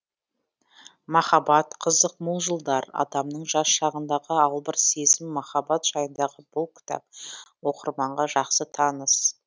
махаббат қызық мол жылдар адамның жас шағындағы албырт сезім махаббат жайындағы бұл кітап оқырманға жақсы таныс